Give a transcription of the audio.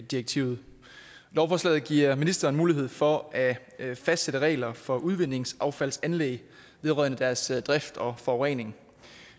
direktivet lovforslaget giver ministeren mulighed for at fastsætte regler for udvindingsaffaldsanlæg vedrørende deres drift og forurening